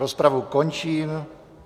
Rozpravu končím.